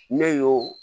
Ne y'o